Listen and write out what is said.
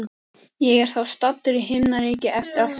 Ég er þá staddur í himnaríki eftir allt saman.